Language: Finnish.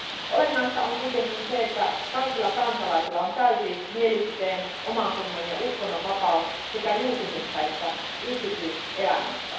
Olennaista on kuitenkin se, että kaikilla kansalaisilla on täysi mielipiteen, omantunnon ja uskonnon vapaus sekä julkisessa että yksityiselämässä.